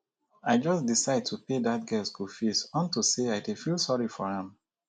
i just decide to pay dat girl school fees unto say i dey feel sorry for am